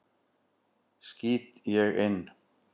skýt ég inn.